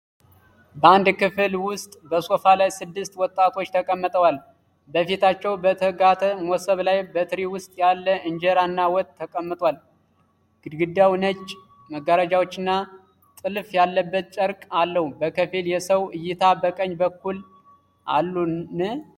በአንድ ክፍል ውስጥ በሶፋ ላይ ስድስት ወጣቶች ተቀምጠዋል። በፊታቸው በተጋተ መሶብ ላይ በትሪ ውስጥ ያለ እንጀራ እና ወጥ ተቀምጧል። ግድግዳው ነጭ መጋረጃዎችና ጥልፍ ያለበት ጨርቅ አለው። ከፊል የሰው እይታ በቀኝ በኩል አሉን?